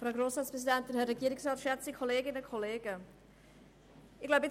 Sonst lehnt die EDU-Fraktion diesen ab.